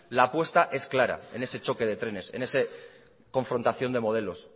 la apuesta es clara en ese choque de trenes en esa confrontación de modelos